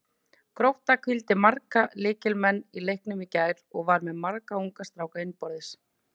Grótta hvíldi marga lykilmenn í leiknum í gær og var með marga unga stráka innanborðs.